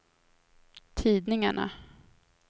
tidningarna